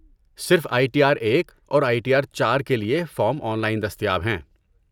صرف I T R ایک اور آئی ٹی آر چار کے لیے فارم آن لائن دستیاب ہیں